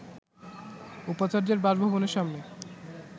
উপাচার্যের বাসভবনের সামনে